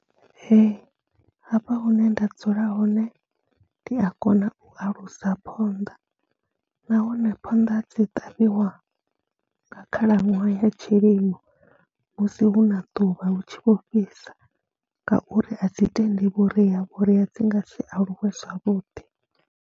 Hafha hune nda dzula hone ndi a kona u alusa phonḓa, nahone phonḓa dzi ṱavhiwa nga khalaṅwaha ya tshilimo musi hu na ḓuvha hu tshi vho fhisa ngauri a dzi tendi vhuria, vhuria dzi nga si aluwe zwavhuḓi.